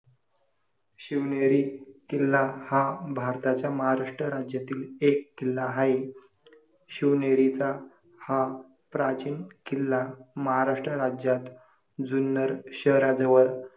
शिवनेरी किल्ला हा भारताच्या महाराष्ट्र राज्यातील एक किल्ला आहे. शिवनेरीचा हा प्राचीन किल्ला महाराष्ट्र राज्यात जुन्नर शहराजवळ